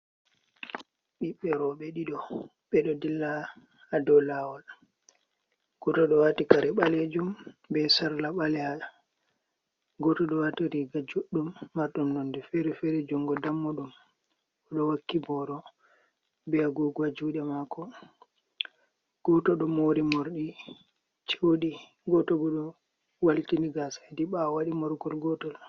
Ɓiɓɓe rowɓe ɗiɗo ɓe ɗo dilla haa dow lawol, goto ɗo wati kare balejum be sarla baleha, goto ɗo wati riga juɗɗum marɗum nonde feer-feere jungo dammuɗum, o ɗo wakki boro be agogo haa juuɗe mako, goto ɗo mori morɗi ceuɗi, goto ɗo waltini gasa hedi ɓawo waɗi morgol gotol.